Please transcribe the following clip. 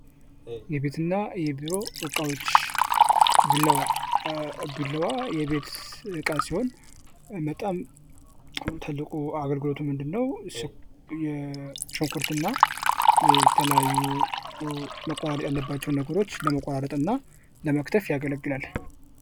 የቤት ዕቃዎች ለመኖርያ ቤቶች ምቾትና ተግባራዊነት የሚውሉ እንደ ሶፋ፣ አልጋና ጠረጴዛ ያሉ ቁሳቁሶች ሲሆኑ የቢሮ ዕቃዎች ለሥራ ምቹ ሁኔታ ይፈጥራሉ።